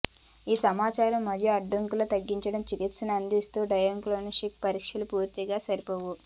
ఈ సమాచారం మరియు అడ్డంకులను తగ్గించని చికిత్సలను అందించని డయాగ్నొస్టిక్ పరీక్షలు పూర్తిగా సరిపోవు